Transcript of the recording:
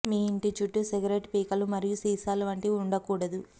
మీ ఇంటి చుట్టూ సిగరెట్టు పీకలు మరియు సీసాలు వంటివి ఉండకూడదు